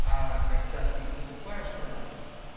а когда ты покупаешь продукт